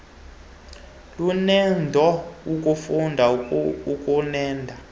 luneedo kumfundi ukuneeda